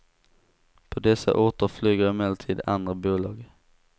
På dessa orter flyger emellertid andra bolag.